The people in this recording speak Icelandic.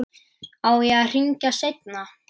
Á ég að hringja seinna?